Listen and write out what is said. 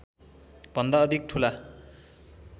भन्दा अधिक ठूला